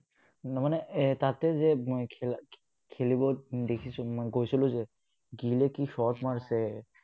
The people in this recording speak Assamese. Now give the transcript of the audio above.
নহয় মানে তাতে যে মই, খেলা খেলিব দেখিছো, মই গৈছিলো যে, gill কি shot মাৰিছে!